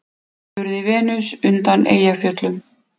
spurði Venus undan Eyjafjöllum.